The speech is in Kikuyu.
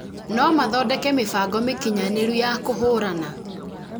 no mathondeke mĩbango mĩkinyanĩru ya kũhũrana